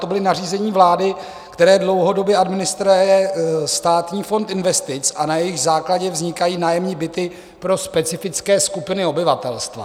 To byla nařízení vlády, která dlouhodobě administruje Státní fond investic, a na jejich základě vznikají nájemní byty pro specifické skupiny obyvatelstva.